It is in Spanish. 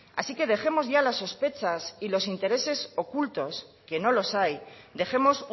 así que dejemos ya las sospechas y los intereses ocultos que no los hay dejemos